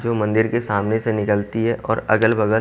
जो मंदिर के सामने से निकलती है और अगल-बगल--